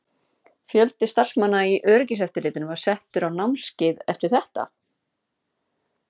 Fjöldi starfsmanna í öryggiseftirlitinu var settur á námskeið eftir þetta?